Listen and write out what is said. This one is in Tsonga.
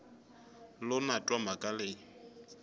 lo na twa mhaka leyi